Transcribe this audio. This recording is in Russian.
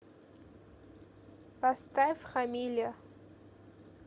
поставь хамиля